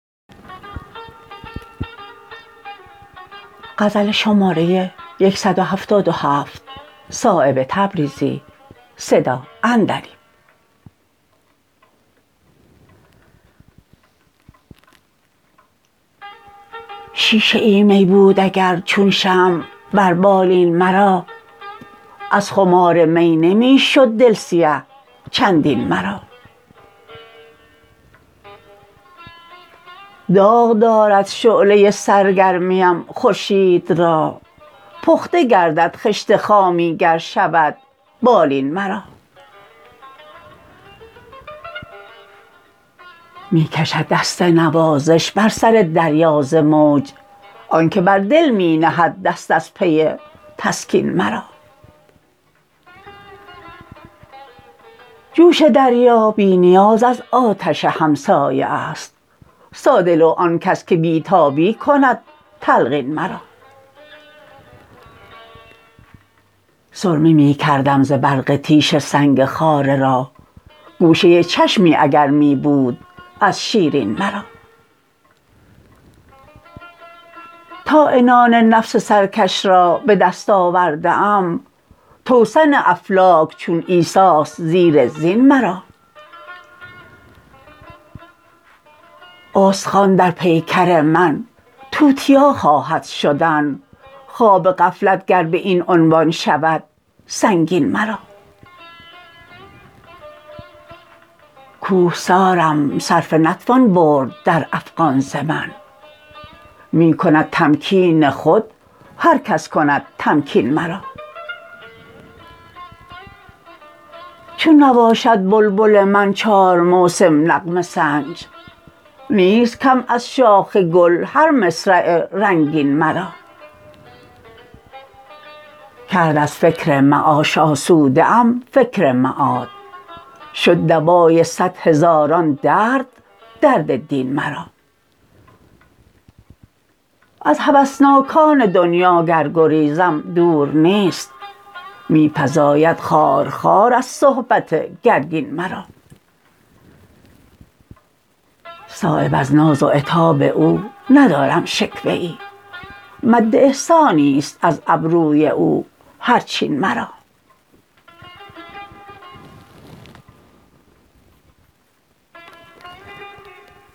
شیشه ای می بود اگر چون شمع بر بالین مرا از خمار می نمی شد دل سیه چندین مرا داغ دارد شعله سرگرمیم خورشید را پخته گردد خشت خامی گر شود بالین مرا می کشد دست نوازش بر سر دریا ز موج آن که بر دل می نهد دست از پی تسکین مرا جوش دریا بی نیاز از آتش همسایه است ساده لوح آن کس که بی تابی کند تلقین مرا سرمه می کردم ز برق تیشه سنگ خاره را گوشه چشمی اگر می بود از شیرین مرا تا عنان نفس سرکش را به دست آورده ام توسن افلاک چون عیسی است زیر زین مرا استخوان در پیکر من توتیا خواهد شدن خواب غفلت گر به این عنوان شود سنگین مرا کوهسارم صرفه نتوان برد در افغان ز من می کند تمکین خود هر کس کند تمکین مرا چون نباشد بلبل من چار موسم نغمه سنج نیست کم از شاخ گل هر مصرع رنگین مرا کرد از فکر معاش آسوده ام فکر معاد شد دوای صد هزاران درد درد دین مرا از هوسناکان دنیا گر گریزم دور نیست می فزاید خارخار از صحبت گرگین مرا صایب از ناز و عتاب او ندارم شکوه ای مد احسانی است از ابروی او هر چین مرا